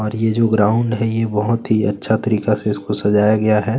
और ये जो ग्राउंड है ये बहोत ही अच्छा तरीके से सजाया गया हैं।